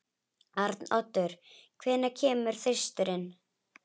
Arnoddur, hvenær kemur þristurinn?